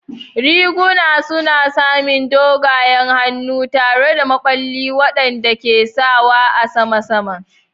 Riguna suna samin doguwar hannu tare da maɓalli waɗanda ke sawa a saman saman.